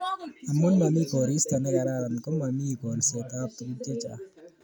amun mami koristo nekararan ko mami kolset ab tuguk chechang